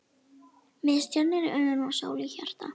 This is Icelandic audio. Með stjörnur í augum og sól í hjarta.